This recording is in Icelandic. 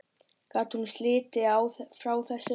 Gat hún slitið sig frá þessu?